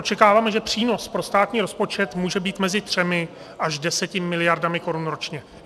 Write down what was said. Očekáváme, že přínos pro státní rozpočet může být mezi třemi až deseti miliardami korun ročně.